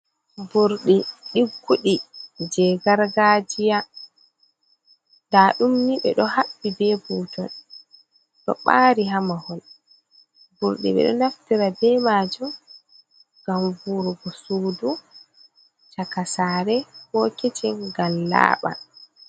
Burɗi ɗigguɗi je gargajiya, nda ɗumni ɓeɗo haɓɓi be butol ɗo bari ha mahol burɗi ɓeɗo naftira be majum ngam vuwurgo sudu, chakasare, ko kecin ngam laaban.